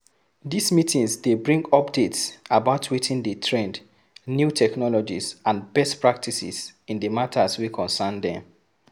These meetings de bring updates about wetin de trend new technologies and best practices in the matters wey concern them